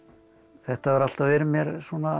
þetta hefur alltaf verið mér